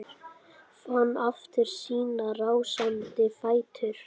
Fann aftur sína rásandi fætur.